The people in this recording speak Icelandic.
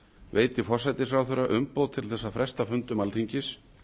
veiti forsætisráðherra umboð til að fresta fundum alþingis